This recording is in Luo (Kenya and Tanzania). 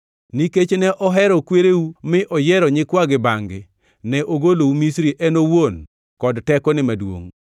Nikech ne ohero kwereu mi oyiero nyikwagi bangʼ-gi, ne ogolou Misri en owuon kod tekone maduongʼ,